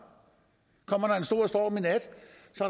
kommer der en stor storm i nat